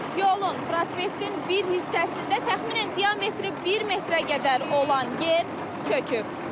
Yolun, prospektin bir hissəsində təxminən diametri bir metrə qədər olan yer çöküb.